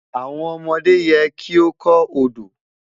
Awọn ọmọde yẹ ki o kọ Odo